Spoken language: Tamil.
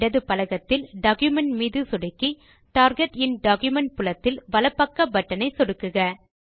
இடது பலகத்தில் டாக்குமென்ட் மீது சொடுக்கி டார்கெட் இன் டாக்குமென்ட் புலத்தின் வலப் பக்க பட்டன் ஐ சொடுக்குக